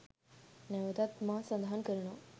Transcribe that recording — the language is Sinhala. නැවතත් මා සඳහන් කරනවා.